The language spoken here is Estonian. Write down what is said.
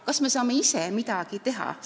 Kas me saame ise midagi teha?